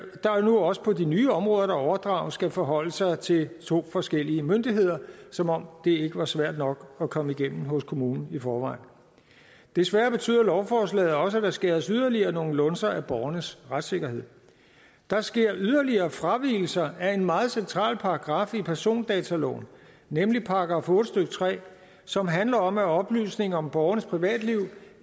nu også på de nye områder der overdrages skal forholde sig til to forskellige myndigheder som om det ikke var svært nok at komme igennem hos kommunen i forvejen desværre betyder lovforslaget også at der skæres yderligere nogle lunser af borgernes retssikkerhed der sker yderligere fravigelser af en meget central paragraf i persondataloven nemlig § otte stykke tre som handler om at oplysninger om borgernes privatliv